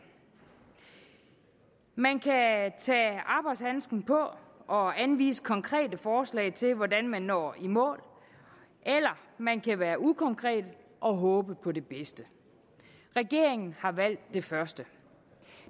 man kan tage arbejdshandsken på og anvise konkrete forslag til hvordan man når i mål eller man kan være ukonkret og håbe på det bedste regeringen har valgt det første